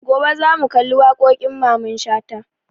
Gobe za mu kalli waƙoƙin Mamman Shata